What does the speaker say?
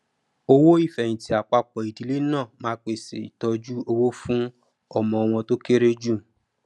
owó ìfẹyìntì àpapọ ìdílé náà má pèsè ìtọjú owó fún ọmọ wọn tó kere jù